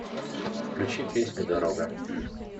включи песню дорога